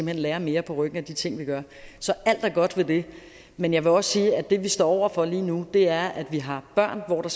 hen lærer mere på ryggen af de ting vi gør så alt er godt ved det men jeg vil også sige at det vi står over for lige nu er at vi har børn hvor der